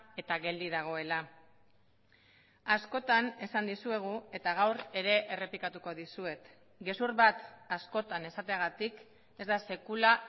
eta geldi dagoela askotan esan dizuegu eta gaur ere errepikatuko dizuet gezur bat askotan esateagatik ez da sekula